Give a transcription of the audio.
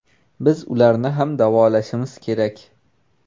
Biz ularni ham davolashimiz kerak.